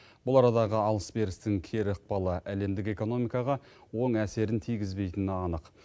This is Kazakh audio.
бұл арадағы алыс берістің кері ықпалы әлемдік экономикаға оң әсерін тигізбейтіні анық